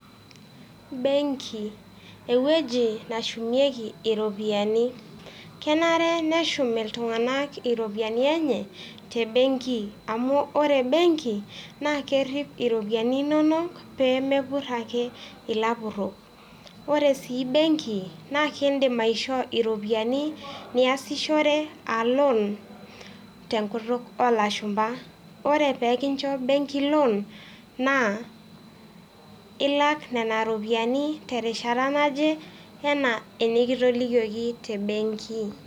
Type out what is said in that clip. Benki ewueji nashumieki iropiani, kenare neshum iltung'anak iropiani enye te benki amu ore benki naa kerip iropini inonok pee meepur ake ilapurok. Kore sii benki naa kindim aishoo iropiani niasishore a loan tenkutuk olashumba. Ore pee kincho benki loan, naa ilak nena ropiani terishata naje enaa enekitolikioki te benki.